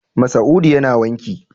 Masa'udu yana wanki.